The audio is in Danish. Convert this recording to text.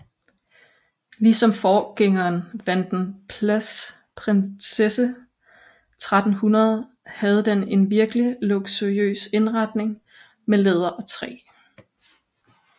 Ligesom forgængeren Vanden Plas Prinsesse 1300 havde den en virkelig luksuriøs indretning med læder og træ